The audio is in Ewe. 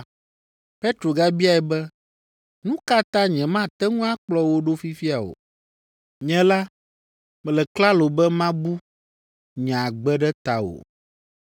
Petro gabiae be, “Nu ka ta nyemate ŋu akplɔ wò ɖo fifia o? Nye la, mele klalo be mabu nye agbe ɖe tawò.”